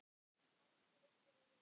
Elsku Auður og Jói.